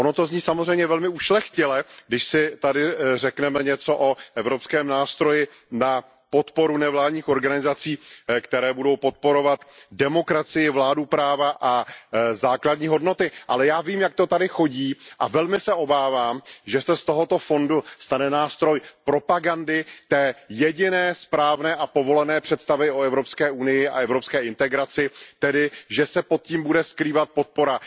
Ono to zní samozřejmě velmi ušlechtile, když si tady řekneme něco o evropském nástroji na podporu nevládních organizací, které budou podporovat demokracii, vládu práva a základní hodnoty, ale já vím, jak to tady chodí, a velmi se obávám, že se z tohoto fondu stane nástroj propagandy té jediné správné a povolené představy o EU a evropské integraci, tedy že se pod tím bude skrývat podpora